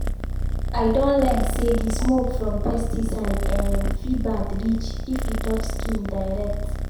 i don learn say the smoke from pesticide um fit bad reach if e touch skin direct.